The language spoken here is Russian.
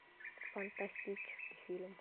фантастический фильм